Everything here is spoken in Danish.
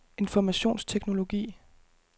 informationsteknologi